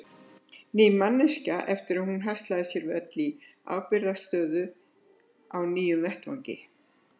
Ný manneskja eftir að hún haslaði sér völl í ábyrgðarstöðu á nýjum starfsvettvangi.